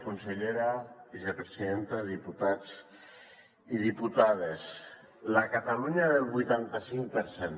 consellera vicepresidenta diputats i diputades la catalunya del vuitanta cinc per cent